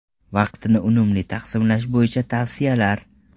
Vaqtni unumli taqsimlash bo‘yicha tavsiyalar.